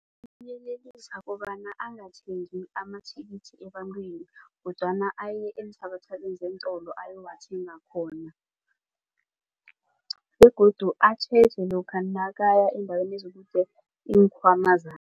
kobana angathengi amathikithi ebantwini kodwana aye eenthabathabeni zeentolo ayowathenga khona begodu atjheje lokha nakaya eendaweni ezikude iinkhwama